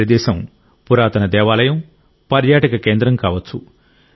ఈ ప్రదేశం పురాతన దేవాలయం పర్యాటక కేంద్రం కావచ్చు